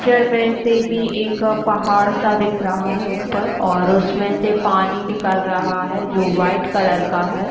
Picture में फिर भी एक पहाड़ सा दिख रहा हैऊपर और उसमे से पानी निकल रहा हैजो व्हाइट कलर का है।